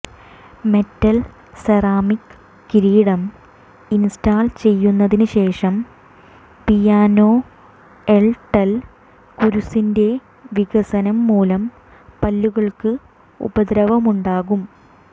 metal ceramic കിരീടം install ചെയ്തതിനുശേഷം പിയാനോൺടൽ കുരുസിന്റെ വികസനം മൂലം പല്ലുകൾക്ക് ഉപദ്രവമുണ്ടാകും